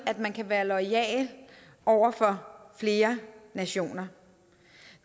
at man kan være loyal over for flere nationer